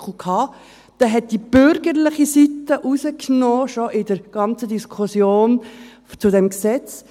Diesen nahm die bürgerliche Seite raus, schon in der ganzen Diskussion zu diesem Gesetz.